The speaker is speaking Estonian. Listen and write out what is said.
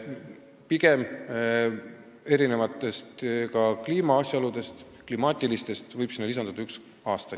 Tulenevalt mitmesugustest klimaatilistest asjaoludest võib sinna lisanduda üks aasta.